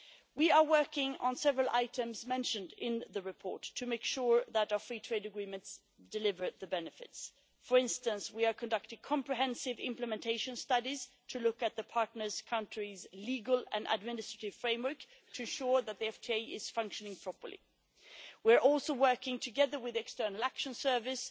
We are working on several items mentioned in the report to make sure that our free trade agreements deliver benefits. For instance, we are conducting comprehensive implementation studies on partner countries' legal and administrative frameworks to ensure that the FTAs function properly. We are also working together with the External Action Service